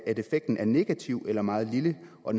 at effekten er negativ eller meget lille og